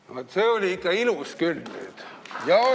Vaat see oli ikka ilus küll!